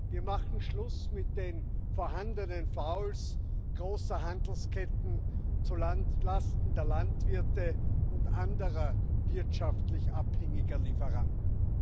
Wir machen Schluss mit den vorhandenen Fouls großer Handelsketten zu Lasten der Landwirte und anderer wirtschaftlich abhängiger Lieferanten.